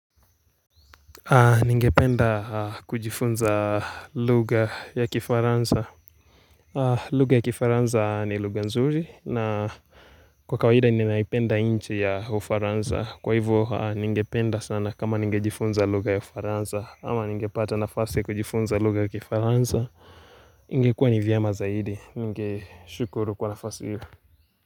Ninge penda kujifunza lugha ya Kifaranza lugha ya Kifaranza ni lugha nzuri na kwa kawahida ninaipenda nchi ya ufaranza Kwa hivo ninge penda sana kama ninge jifunza lugha ya ufaranza Ama ninge pata nafasi kujifunza lugha ya Kifaranza niNge kuwa ni vyema zaidi ningeshukuru kwa nafasi hiyo.